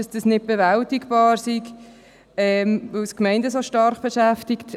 Dies sei nicht zu bewältigen, weil es die Gemeinden stark beschäftige.